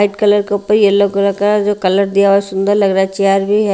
White colour के उपर yellow colour का जो कलर दिया हुआ है सुंदर लग रहा है चेयार भी है।